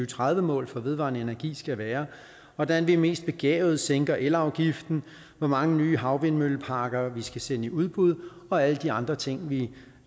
tredive mål for vedvarende energi skal være hvordan vi mest begavet sænker elafgiften hvor mange nye havvindmølleparker vi skal sende i udbud og alle de andre ting vi